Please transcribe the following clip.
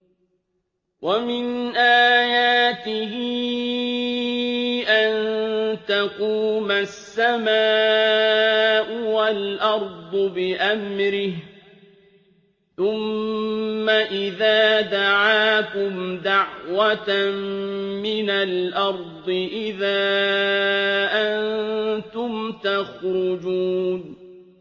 وَمِنْ آيَاتِهِ أَن تَقُومَ السَّمَاءُ وَالْأَرْضُ بِأَمْرِهِ ۚ ثُمَّ إِذَا دَعَاكُمْ دَعْوَةً مِّنَ الْأَرْضِ إِذَا أَنتُمْ تَخْرُجُونَ